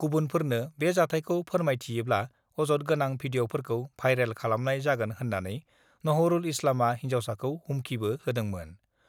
गुबुनफोरनो बे जाथायखौ फोरमायथियोब्ला अजद गोनां भिडिअफोरखौ भाइरेल खालामनाय जागोन होन्नानै नहरुल इस्लामआ हिन्जावसाखौ हुमखिबो होदोंमोन।